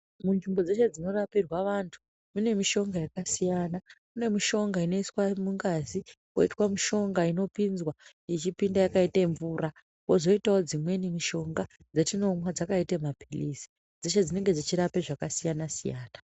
Munzvimbo dzeshe dzinorapirwe vantu mune mishonga yakasiyana kune mishonga inoiswa mungazi kwoite mishonga inopinzwa ichipinda yakaite mvura kwozoitawo dzimweni mishonga dzatinomwa dzakaite mapilizi dzeshe dzinenge dzechirape zvakasiyana siyana.